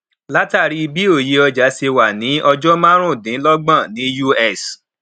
látàrí bí òye ọjà ṣe wá sí ọjà marun dín lọgbọn ní us